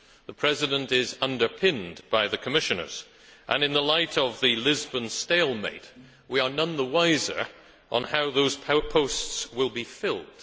The President is underpinned by the Commissioners and, in the light of the Lisbon stalemate, we are none the wiser on how those posts will be filled.